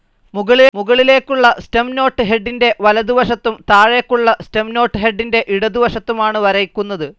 മുകളിലേയ്ക്കുള്ള stem note ഹെഡിന്റെ വലതുവശത്തും താഴേക്കുള്ള സ്റ്റെം നോട്ട്‌ ഹെഡിന്റെ ഇടതുവശത്തുമാണ് വരയ്ക്കുന്നത്.